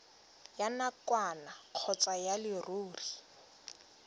ya nakwana kgotsa ya leruri